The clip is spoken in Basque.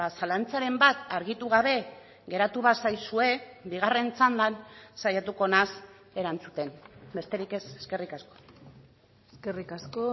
zalantzaren bat argitu gabe geratu bazaizue bigarren txandan saiatuko naiz erantzuten besterik ez eskerrik asko eskerrik asko